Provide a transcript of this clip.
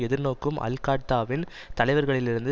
எதிர்நோக்கும் அல் காட்தாவின் தலைவர்களிலிருந்து